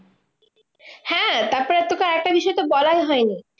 হ্যাঁ তারপরে আর তোকে আরেকটা বিষয়তো বলাই হয়নি।